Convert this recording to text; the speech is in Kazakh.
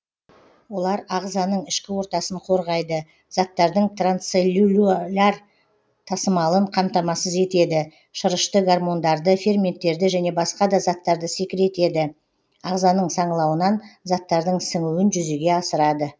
олар ағзаның ішкі ортасын қорғайды заттардың трансцеллюляр тасымалын қамтамасыз етеді шырышты гормондарды ферменттерді және басқа да заттарды секретеді ағзаның саңылауынан заттардың сіңуін жүзеге асырады